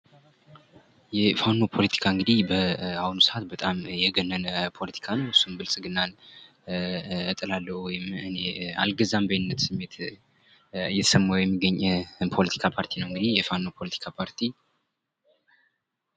የፋኖ ፖለቲካ እንግዲህ በአሁኑ ሰአት በጣም የገነነ ፖለቲካ ነው እሱም ብልግናን እጥላለሁ ወይም ኣልገዛም ባይነት ስሜት እየተሰማው የሚገኝ ነው እንግዲህ የፋኖ ፖለቲካ ፓርቲ።